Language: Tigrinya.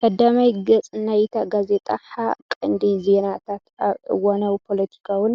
ቀዳማይ ገጽ ናይታ ጋዜጣ፡ ሓ ቀንዲ ዜናታት ኣብ እዋናዊ ፖለቲካውን